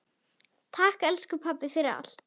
Takk, elsku pabbi, fyrir allt.